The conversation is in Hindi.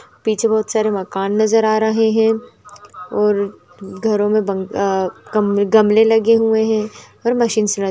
पीछे बहुत सारे मकान नजर आ रहे है और घरों मे बंग अ गम-गमले लगे हुए है और मशीन्स ल --